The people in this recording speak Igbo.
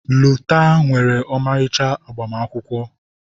Lota nwere ọmarịcha agbamakwụkwọ.